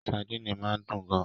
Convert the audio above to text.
Sadini máa ń dùn gan-an